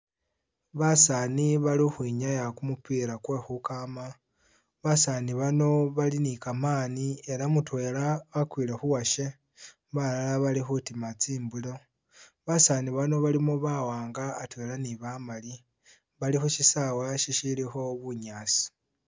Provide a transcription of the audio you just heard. Basani bali khukhwinyaa kumupila kwekhukama basani bano bali nikamani elah mutwela wakwile khuwashe, balala balikhutima tsimbilo basani bano balimo bawanga atwela ni bamali balikhushisawa shilikho bunyaasi